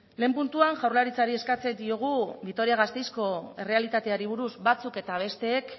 lehen puntuan jaurlaritzari eskatzen diogu vitoria gasteizko errealitateari buruz batzuk eta besteek